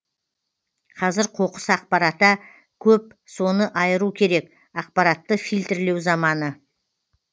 қазір қоқыс ақпарата көп соны айыру керек ақпаратты фильтрлеу заманы